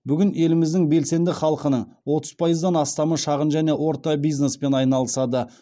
бүгін еліміздің белсенді халқының отыз пайыздан астамы шағын және орта бизнеспен айналысады